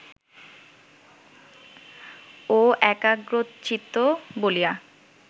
ও একাগ্রচিত্ত বলিয়া